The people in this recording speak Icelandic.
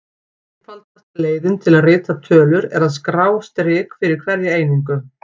Einfaldasta leiðin til að rita tölur er að skrá strik fyrir hverja einingu.